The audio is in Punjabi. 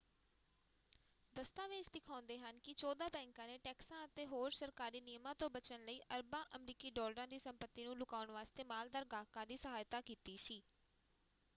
ਦਸਤਾਵੇਜ਼ ਦਿਖਾਉਂਦੇ ਹਨ ਕਿ ਚੌਦਾਂ ਬੈਂਕਾਂ ਨੇ ਟੈਕਸਾਂ ਅਤੇ ਹੋਰ ਸਰਕਾਰੀ ਨਿਯਮਾਂ ਤੋਂ ਬਚਣ ਲਈ ਅਰਬਾਂ ਅਮਰੀਕੀ ਡਾਲਰਾਂ ਦੀ ਸੰਪਤੀ ਨੂੰ ਲੁਕਾਉਣ ਵਾਸਤੇ ਮਾਲਦਾਰ ਗਾਹਕਾਂ ਦੀ ਸਹਾਇਤਾ ਕੀਤੀ ਸੀ।